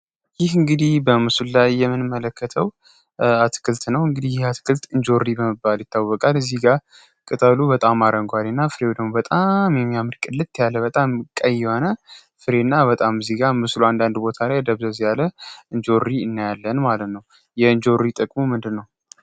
ይህ እንግዲህ በምሱል ላይ የምንመለከተው አትክልት ነው እንግዲህ ይህ አትክልት እንጆሪ በመባል ይታወቃልል እዚህ ጋር ቅጠሉ በጣም አረንጓዴ እና ፍሬው ደግሞ በጣም የሚያምርቅ ቅልት ያለ በጣም ቀይ የሆነ ፍሬ እና በጣም እዚህ ጋ ምስሉ አንዳንድ ቦታ ላይ ደብዘዝ ያለ እንጆሪ እናያለን ማለት ነው የእንጆሪ ጥቅሙ ምንድ ነው?